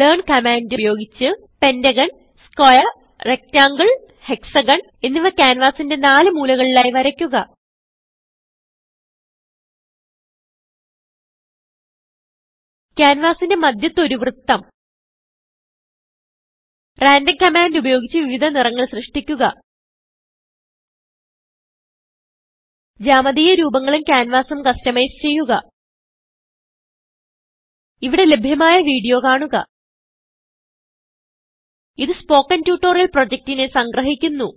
learn command ഉപയോഗിച്ച് pentagon square rectangle hexagon എന്നിവ ക്യാൻവാസിന്റെ നാല് മൂലകളിലായി വരയ്ക്കുക ക്യാൻവാസിന്റെ മദ്ധ്യത്ത് ഒരു വൃത്തം randomകമാൻഡ് ഉപയോഗിച്ച് വിവിധ നിറങ്ങൾ സൃഷ്ടിക്കുക ജാമതീയ രൂപങ്ങളും ഉം canvasഉം കസ്റ്റമൈസ് ചെയ്യുക ഇവിടെ ലഭ്യമായ വീഡിയോ കാണുക ഇതു സ്പോകെൻ ട്യൂട്ടോറിയൽ പ്രൊജക്റ്റിനെ സംഗ്രഹിക്കുന്നു